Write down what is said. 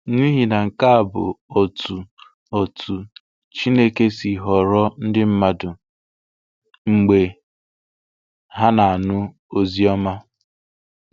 N’ihi na nke a bụ otú otú Chineke si họrọ ndị mmadụ, mgbe ha na-anụ Oziọma.